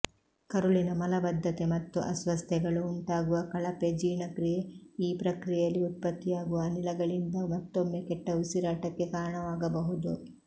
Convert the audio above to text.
ಕರುಳಿನ ಮಲಬದ್ಧತೆ ಮತ್ತು ಅಸ್ವಸ್ಥತೆಗಳು ಉಂಟಾಗುವ ಕಳಪೆ ಜೀರ್ಣಕ್ರಿಯೆ ಈ ಪ್ರಕ್ರಿಯೆಯಲ್ಲಿ ಉತ್ಪತ್ತಿಯಾಗುವ ಅನಿಲಗಳಿಂದ ಮತ್ತೊಮ್ಮೆ ಕೆಟ್ಟ ಉಸಿರಾಟಕ್ಕೆ ಕಾರಣವಾಗಬಹುದು